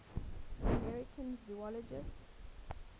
american zoologists